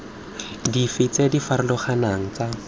dife tse di farologaneng tsa